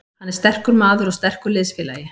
Hann er sterkur maður og sterkur liðsfélagi.